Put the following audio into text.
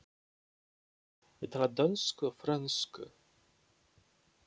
Ég tala dönsku og frönsku.